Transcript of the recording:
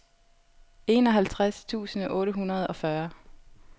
enoghalvtreds tusind otte hundrede og fyrre